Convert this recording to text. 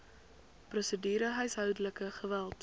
prosedure huishoudelike geweld